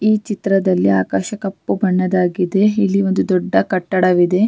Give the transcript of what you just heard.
ಈ ಚಿತ್ರದಲ್ಲಿ ಆಕಾಶ ಕಪ್ಪು ಬಣ್ಣದಾಗಿದೆ ಇಲ್ಲಿ ಒಂದು ದೊಡ್ಡ ಕಟ್ಟಡವಿದೆ.